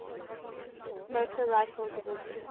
motor rifle division